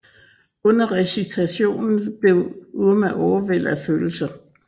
Under recitationen blev Umar overvældet af følelser